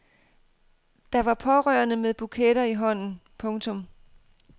Der var pårørende med buketter i hånden. punktum